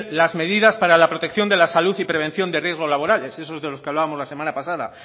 las medidas para la protección de la salud y prevención de riesgos laborales esos de los que hablábamos de la semana pasada